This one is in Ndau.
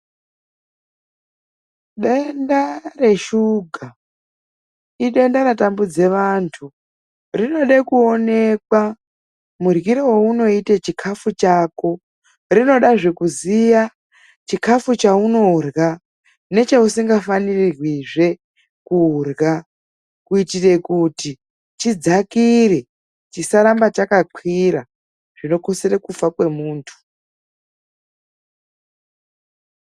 Denda reshuga idenda ratambudza antu rinoda kuonekwa mudryiro waunoita, chikafu chako rinoda zvekuziva chikafu chaunorya nechausingafanirwi kurya kuitira kuti tidzakire chisaramba chakakwira zvinokusira kufa kwemundu.